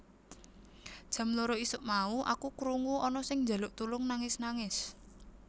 Jam loro isuk mau aku kurngu ana sing njaluk tulung nangis nangis